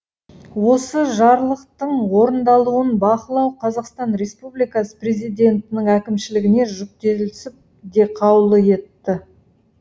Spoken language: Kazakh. осы жарлықтың орындалуын бақылау қазақстан республикасы президентінің әкімшілігіне жүктелсін деп қаулы етті